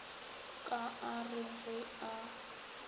ka a re ge a